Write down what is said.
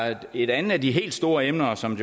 er et andet af de helt store emner som